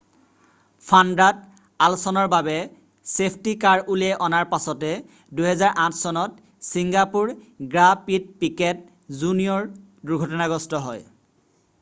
ফাৰ্ণ্ডাণ্ড' আলছন'ৰ বাবে safety car উলিয়াই অনাৰ পাছতে 2008 চনত ছিংগাপুৰ গ্ৰাঁ প্ৰিত পিকেট জুনিয়ৰ দুৰ্ঘটনাগ্ৰস্ত হয়